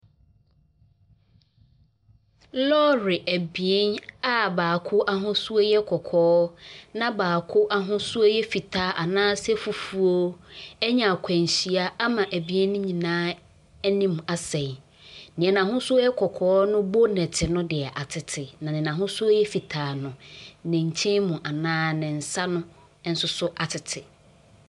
Lɔɔre abien a baako ahosuo yɛ kɔkɔɔ, na baako ahosuo yɛ fitaa anaasɛ fufuo anya akwanhyia ama abien no nyinaa anim asɛe. Neɛ n'ahosuo yɛ kɔkɔɔ no bonnet no deɛ, atete. Na deɛ n'ahosuo yɛ fitaa no, ne nkyɛn mu anaa ne nsa no nso so atete.